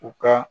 U ka